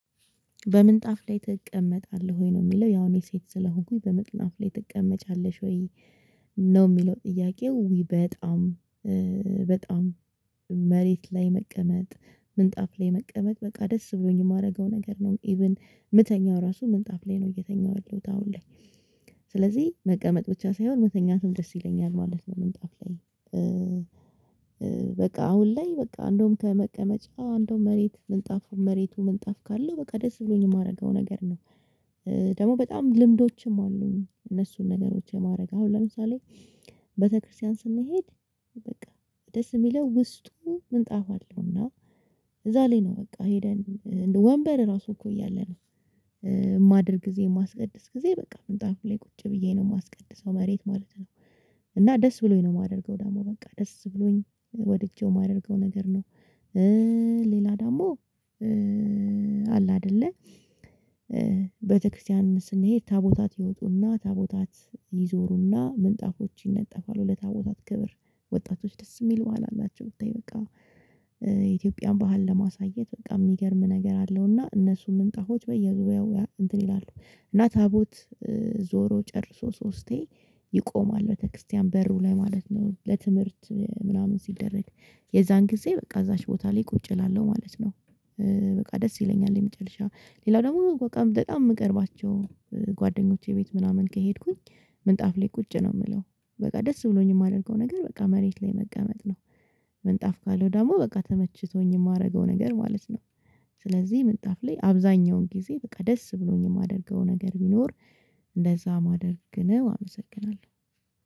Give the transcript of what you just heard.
"በምንጣፍ ላይ ትቀመጣለህ ወይ?" ነው የሚለው። ያው እኔ ሴት ስለሆንኩኝ "በምጥናፍ ላይ ትቀመጫለሽ ወይ?" ነው የሚለው ጥያቄው በጣም በጣም መሬት ላይ መቀመጥ፣ ምንጣፍ ላይ መቀመጥ በቃ ደስ ብሎኝ የማደርገው ነገር ነው። ኢቭን የምተኛው ራሱ ምንጣፍ ላይ ነው እየተኛው ያለሁት አሁን ላይ ስለዚህ መቀመጥ ብቻ ሳይሆን መተኛትም ደስ ይለኛል ማለት ነው ምንጣፍ ላይ። በቃ አሁን ላይ በቃ እንደው ከመቀመጫ እንደውም መሬቱ ምንጣፉ መሬቱ ምንጣፍ ካለው በቃ ደስ ብሎኝ የማደርገው ነገር ነው። ደግሞ በጣም ልምዶችም አሉኝ እነሱን ነገሮች የማደርግ። አሁን ለምሳሌ ቤተክርስቲያን ስንሄድ በቃ ደስ የሚለው ውስጡ ምንጣፍ አለውና እዛ ላይ ነው በቃ ሄደን ወንበር ራሱ እኮ እያለ ነው የማድርግ ጊዜ የማስቀድስ ጊዜ በቃ ምንጣፉ ላይ ቁጭ ብዬ ነው የማስቀድሰው መሬት ማለት ነው። እና ደስ ብሎኝ ነው የማደርገው ደግሞ በቃ ደስ ብሎኝ ወድጄው የማደርገው ነገር ነው። ሌላ ደግሞ አለ አይደለ ቤተክርስቲያን ስንሄድ ታቦታት ይወጡና ታቦታት ይዞሩና ምንጣፎች ይነጠፋሉ ለታቦታት ክብር ወጣቶች ደስ የሚል ባህል አላቸው ብታይ በቃ የኢትዮጵያን ባህል ለማሳየት በቃ የሚገርም ነገር አለው እና እነሱን ምንጣፎች በየጉባኤው እንትን ይላሉ እና ታቦት ዞሮ ጨርሶ ሶስቴ ይቆማል ቤተክርስቲያን በሩ ላይ ማለት ነው ለትምህርት ምናምን ሲደረግ የዛን ጊዜ በቃ እዛች ቦታ ላይ ቁጭ እላለሁ ማለት ነው። በቃ ደስ ይለኛል የመጨረሻ። ሌላው ደግሞ በቃ በጣም የምቀርባቸው ጓደኞቼ ቤት ምናምን ከሄድኩኝ ምንጣፍ ላይ ቁጭ ነው የምለው። በቃ ደስ ብሎኝ የማደርገው ነገር በቃ መሬት ላይ መቀመጥ ነው። ምንጣፍ ካለው ደግሞ በቃ ተመችቶኝ የማደርገው ነገር ማለት ነው። ስለዚህ ምንጣፍ ላይ አብዛኛውን ጊዜ በቃ ደስ ብሎኝ የማደርገው ነገር ቢኖር እንደዛ ማድረግ ነው። አመሰግናለሁ።